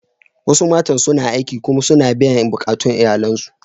Wasu matan suna aiki kuma suna biyan bukatun iyalansu.